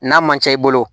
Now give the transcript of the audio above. N'a man ca i bolo